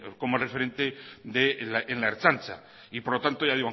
como referente en la ertzantza y por lo tanto ya